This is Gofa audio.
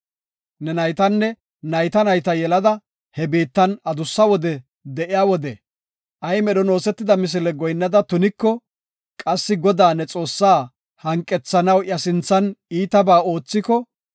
Ne naytanne, nayta nayta yelada he biittan adussa wode de7iya wode ay medhon oosetida misile goyinnada tuniko, qassi Godaa, ne Xoossa hanqethanaw iya sinthan iitaba oothiko,